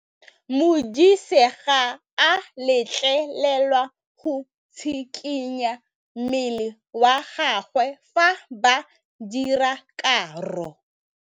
Modise ga a letlelelwa go tshikinya mmele wa gagwe fa ba dira karô.